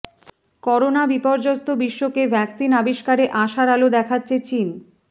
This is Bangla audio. করোনা বিপর্যস্ত বিশ্বকে ভ্যাকসিন আবিষ্কারে আশার আলো দেখাচ্ছে চীন